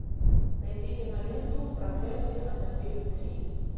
найди киноленту проклятие аннабель три